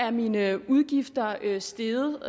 at mine udgifter er steget